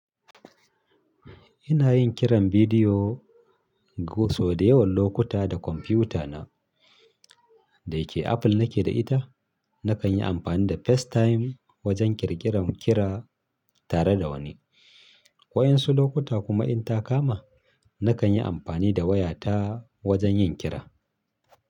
Ina yin kiran bidiyo go so dayawan lokuta da konpiutana da yake Apple nake da ita. Nakan yi amfani da FaceTime wajen ƙirƙiran ƙira tare da wani. Waƴansu lokuta kuma in ta kama, nakan yi ampani da wayata wajen yin ƙira.